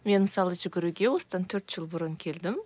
мен мысалы жүгіруге осыдан төрт жыл бұрын келдім